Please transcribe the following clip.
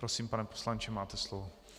Prosím, pane poslanče, máte slovo.